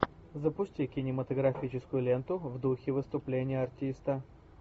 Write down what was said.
запусти кинематографическую ленту в духе выступления артиста